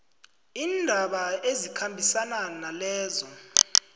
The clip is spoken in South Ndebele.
iindaba ezikhambisana nalezo